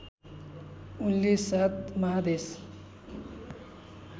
उनले सात महादेशका